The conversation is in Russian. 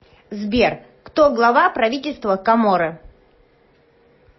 сбер кто глава правительства коморы